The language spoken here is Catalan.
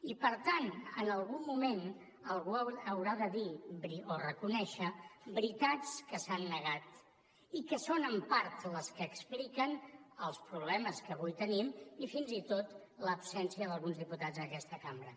i per tant en algun moment algú haurà de dir o reconèixer veritats que s’han negat i que són en part les que expliquen els problemes que avui tenim i fins i tot l’absència d’alguns diputats en aquesta cambra